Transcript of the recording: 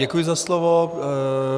Děkuji za slovo.